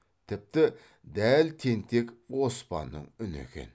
тіпті дәл тентек оспанның үні екен